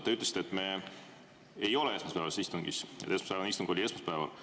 Te ütlesite, et me ei ole esmaspäevases istungis, esmaspäevane istung oli esmaspäeval.